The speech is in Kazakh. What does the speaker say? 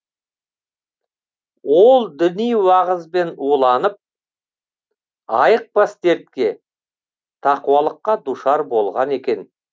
ол діни уағызбен уланып айықпас дертке тақуалыққа душар болған екен